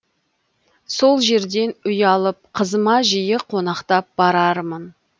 сол жерден үй алып қызыма жиі қонақтап барармын